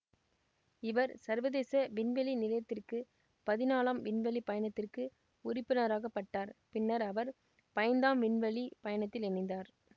இவர் சர்வதேச விண்வெளி நிலையத்திற்கு பதினாலாம் விண்வெளி பயணத்திற்கு உறுப்பினராக்கப்பட்டார் பின்னர் அவர் பைந்தாம் விண்வெளி பயணத்தில் இணைந்தார்